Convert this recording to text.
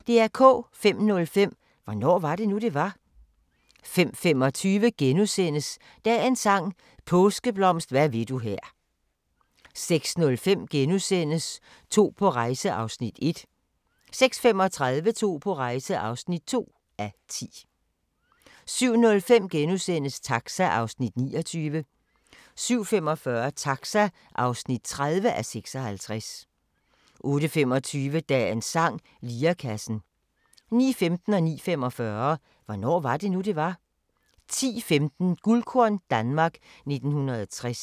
05:05: Hvornår var det nu, det var? 05:25: Dagens sang: Påskeblomst hvad vil du her * 06:05: To på rejse (1:10)* 06:35: To på rejse (2:10) 07:05: Taxa (29:56)* 07:45: Taxa (30:56) 08:25: Dagens sang: Lirekassen 09:15: Hvornår var det nu, det var? 09:45: Hvornår var det nu, det var? 10:15: Guldkorn - Danmark 1960